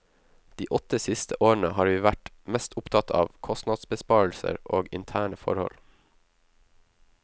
De åtte siste årene har vi vært mest opptatt av kostnadsbesparelser og interne forhold.